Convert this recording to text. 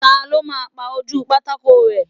Ta ló máa pa ojúu pátákó rẹ́?